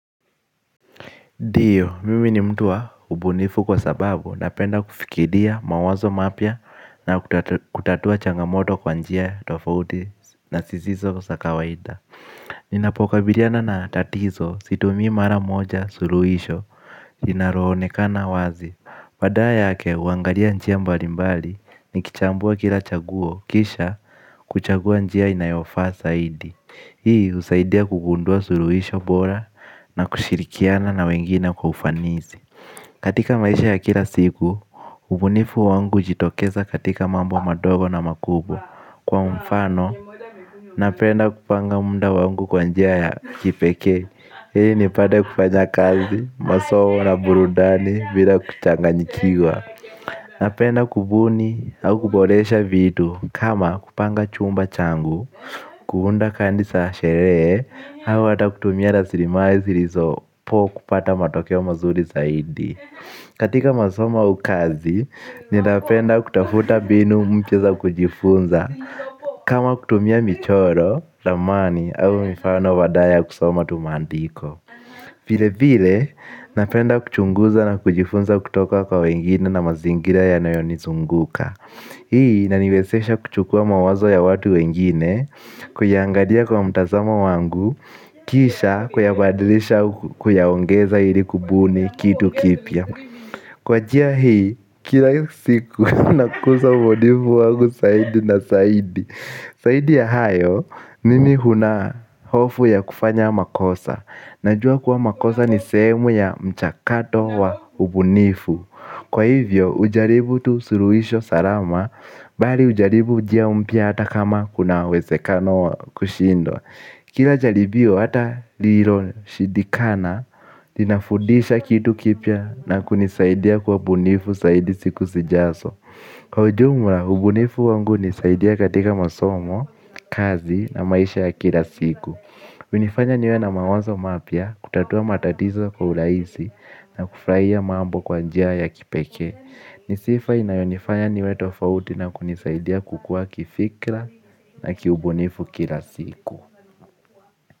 Ndio, mimi ni mtu wa ubunifu kwa sababu napenda kufikiria mawazo mapya na kutatua changamoto kwa njia tofauti na zisizo kwa za kawaida. Ninapo kabiliana na tatizo, situmii mara moja suluhisho, linalo onekana wazi. Badala yake, huangalia njia mbali mbali, nikichambua kila chaguo, kisha kuchagua njia inayofaa zaidi. Hii husaidia kugundua suluhisho bora na kushirikiana na wengine kwa ufanisi. Katika maisha ya kila siku, ubunifu wangu hujitokeza katika mambo madogo na makubwa, kwa mfano, napenda kupanga muda wangu kwa njia ya kipekee ili nipate kufanya kazi, masomo na burudani bila kuchanganyikiwa. Napenda kubuni au kuboresha vitu kama kupanga chumba changu. Kuunda kadi sherehe, au ata kutumia rasiri mali zilizopo kupata matokeo mazuri zaidi. Katika masomo au kazi, ninapenda kutafuta mbinu mpya za kujifunza. Kama kutumia michoro, ramani, au mifano badala kusoma tumaandiko. Vile vile, napenda kuchunguza na kujifunza kutoka kwa wengine na mazingira yanayo nizunguka. Hii inani wezesha kuchukua mawazo ya watu wengine, kuyaangalia kwa mtazamo wangu, kisha kuyabadilisha au kuyao ngeza ili kubuni kitu kipya. Kwa jia hii, kila siku nakuza ubunifu wangu zaidi na zaidi. Zaidi ya hayo, nimi huna hofu ya kufanya makosa. Najua kuwa makosa ni sehemu ya mchakato wa ubunifu. Kwa hivyo, hujaribu tu suluhisho salama, bali hujaribu njia mpya ata kama kuna uwezekano wa kushindwa. Kila jaribii hata lililo shidikana, linafundisha kitu kipya na kunisaidia kuwa bunifu zaidi siku zijazo. Kwa ujumla, ubunifu wangu hunisaidia katika masomo, kazi na maisha ya kila siku. Huinifanya niwe na mawazo mapya, kutatua matatizo kwa urahisi na kufurahia mambo kwa njia ya kipekee. Ni sifa inayonifanya niwe tofauti na kunisaidia kukua kifikra na kiubunifu kila siku.